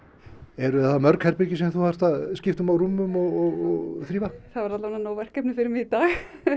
eru það mörg herbergi sem þú þarft að skipta á rúmum og þrífa það eru allavega nóg verkefni fyrir mig í dag